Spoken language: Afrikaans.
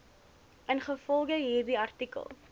ingevolge hierdie artikel